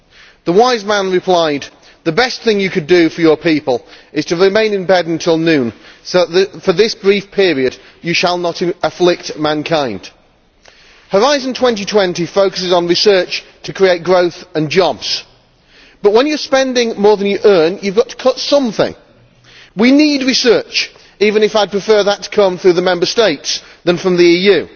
The wise man replied, The best thing you could do for your people is to remain in bed until noon so that for this brief period you shall not afflict mankind'. Horizon 2020 focuses on research to create growth and jobs, but when you are spending more than you earn you have got to cut something. We need research, even if I prefer that to come through the Member States rather than from the EU.